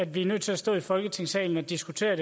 vi er nødt til at stå i folketingssalen og diskuterer